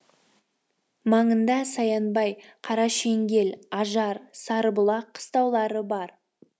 маңында саянбай қарашеңгел ажар сарыбұлақ қыстаулары бар